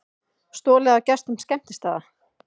Stolið af gestum skemmtistaða